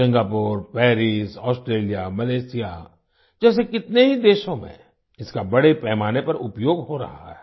Singapore Paris Australia Malaysia जैसे कितने ही देशों में इसका बड़े पैमाने पर उपयोग हो रहा है